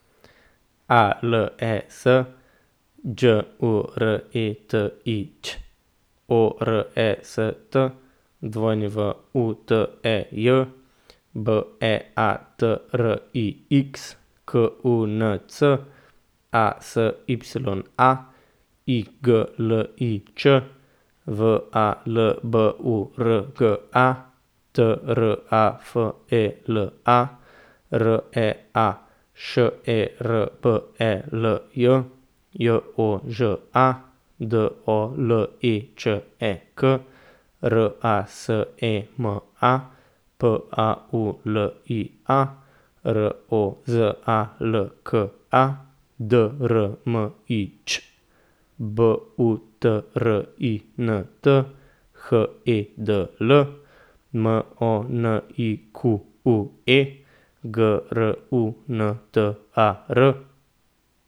A L E S, Đ U R E T I Ć; O R E S T, W U T E J; B E A T R I X, K U N C; A S Y A, I G L I Č; V A L B U R G A, T R A F E L A; R E A, Š E R B E L J; J O Ž A, D O L E Č E K; R A S E M A, P A U L I A; R O Z A L K A, D R M I Ć; B U T R I N T, H E D L; M O N I Q U E, G R U N T A R.